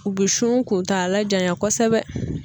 U bi sun kuntagala janya kosɛbɛ.